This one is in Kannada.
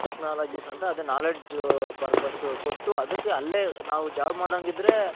Technologies ಅಂತ ಅದೇ knowledge purpose ಕೊಟ್ಟು ಅದಿಕ್ಕೆ ಅಲ್ಲೇ ನಾವು job ಮಾಡಂಗಿದ್ರೆ.